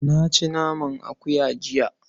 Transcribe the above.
Na ci naman akuya jiya.